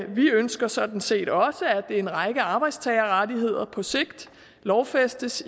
vi ønsker sådan set også at en række arbejdstagerrettigheder på sigt lovfæstes